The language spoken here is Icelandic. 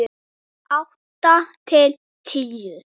Handa átta til tíu